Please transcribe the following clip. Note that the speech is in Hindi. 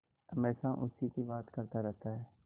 हमेशा उसी की बात करता रहता है